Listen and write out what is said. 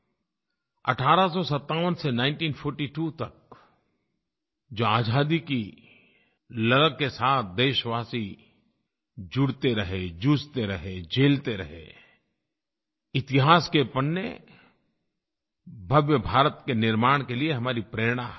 1857 से 1942 तक जो आज़ादी की ललक के साथ देशवासी जुड़ते रहे जूझते रहे झेलते रहे इतिहास के पन्ने भव्य भारत के निर्माण के लिए हमारी प्रेरणा हैं